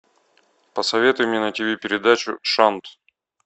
посоветуй мне на тв передачу шант